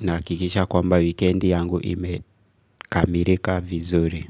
nahakikisha kwamba wikendi yangu imekamilika vizuri.